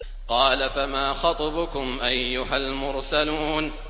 قَالَ فَمَا خَطْبُكُمْ أَيُّهَا الْمُرْسَلُونَ